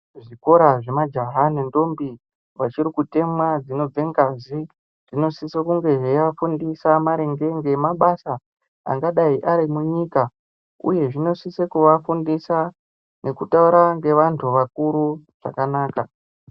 Kuzvikora zvemajaha nendombi vachiri kutemwa dzinobve ngazi dzinosisa kunge zveiva fundisa maringe ngemabasa angadai ari munyika uye zvinosise kuvafundisa nekutaura nevanthu vakuru zvakanaka.